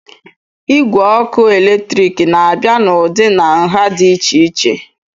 Igwe ọkụ eletrik na-abịa n'ụdị na nha dị iche iche